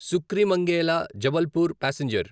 సుక్రీమంగేలా Jabalpur passenger